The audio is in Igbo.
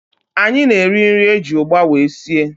Anyị na-eri nri eji ụgba wee sie